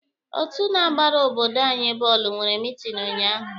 Otu na-agbara obodo anyi bọọlụ nwere meeting unyaahụ.